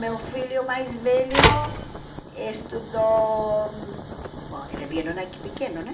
Meu filho mais velho estudou... Bom, eles vieram aqui pequenos, né?